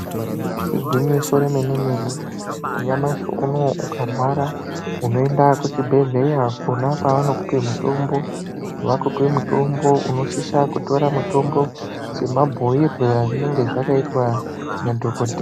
Igwinyiso remene-mene. Nyamashi unowu ukarwara, unoenda kuchibhehleya kwona kwanokupe mutombo, vakupe mutombo inosisa kutora mutombo semabhuirwe azvinenge zvakaitwa nadhokoteya.